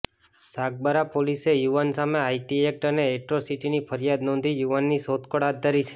સાગબારા પોલીસે યુવાન સામે આઇટી એક્ટ અને એક્ટ્રોસિટીની ફરિયાદ નોંધી યુવાનની શોધખોળ હાથ ધરી છે